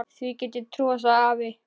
Því get ég trúað, sagði afi.